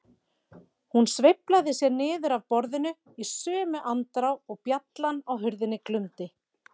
Hún sveiflaði sér niður af borðinu í sömu andrá og bjallan á hurðinni glumdi.